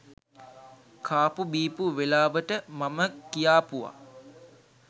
කාපු බීපු වෙලාවට මම කියාපුව